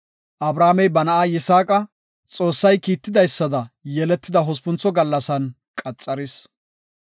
Abrahaamey ba na7a Yisaaqa Xoossay kiitidaysada yeletida hospuntho gallasan qaxaris.